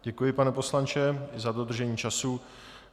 Děkuji, pane poslanče, za dodržení času.